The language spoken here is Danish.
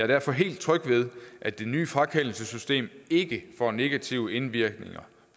derfor helt tryg ved at det nye frakendelsessystem ikke får negative indvirkninger